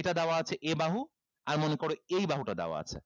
এটা দেওয়া আছে a বাহু আর মনে করো এই বাহুটা দেওয়া আছে